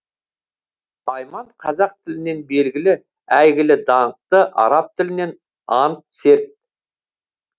аи ман қазақ тілінен белгілі әйгілі даңқты араб тілінен ант серт